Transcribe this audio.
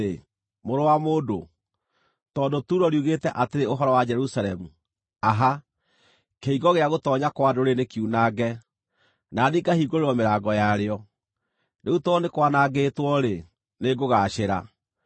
“Mũrũ wa mũndũ, tondũ Turo riugĩte atĩrĩ ũhoro wa Jerusalemu, ‘Aha! Kĩhingo gĩa gũtoonya kwa ndũrĩrĩ nĩkiunange, na niĩ ngahingũrĩrwo mĩrango yarĩo; rĩu tondũ nĩ kwanangĩtwo-rĩ, nĩngũgaacĩra,’